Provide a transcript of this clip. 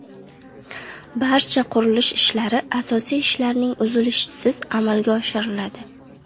Barcha qurilish ishlari asosiy ishlarning uzilishisiz amalga oshiriladi.